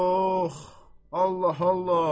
Ox, Allah, Allah.